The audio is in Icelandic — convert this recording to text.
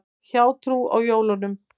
Hjátrú á jólum.